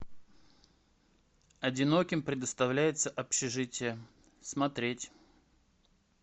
одиноким предоставляется общежитие смотреть